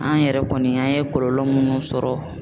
An yɛrɛ kɔni an ye kɔlɔlɔ munnu sɔrɔ